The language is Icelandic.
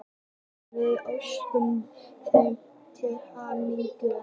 Við óskuðum þeim til hamingju.